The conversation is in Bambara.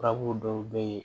Furabulu dɔw be yen